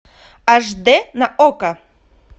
аш д на окко